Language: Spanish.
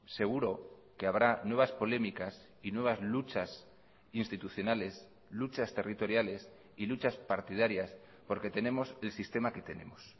seguro que habrá nuevas polémicas y nuevas luchas institucionales luchas territoriales y luchas partidarias porque tenemos el sistema que tenemos